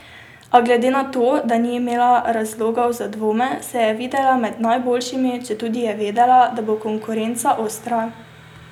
A glede na to, da ni imela razlogov za dvome, se je videla med najboljšimi, četudi je vedela, da bo konkurenca ostra.